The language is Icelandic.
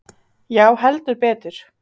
Já heldur betur.